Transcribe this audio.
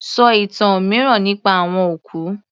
Sọ ìtàn mìíràn nípa àwọn òkú